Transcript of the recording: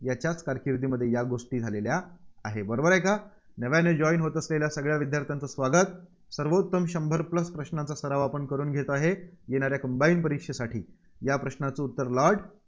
याच्याच कारकिर्दीमध्ये या गोष्टी झालेल्या आहे. बरोबर आहे का? नव्याने join होत असलेल्या सगळ्या विद्यार्थ्यांचे स्वागत. सर्वोत्तम शंभर प्रश्नांचा सराव आपण करून घेत आहे. येणाऱ्या Combine परीक्षेसाठी, या प्रश्नांचं उत्तर लॉर्ड